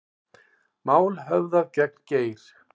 Mál höfðað gegn Geir